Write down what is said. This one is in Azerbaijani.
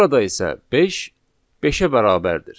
Burada isə beş beşə bərabərdir.